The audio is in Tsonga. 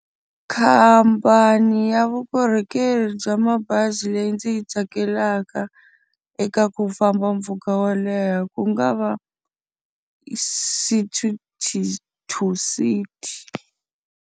Khamphani ya vukorhokeri bya mabazi leyi ndzi yi tsakelaka eka ku famba mpfhuka wo leha ku nga va City To City.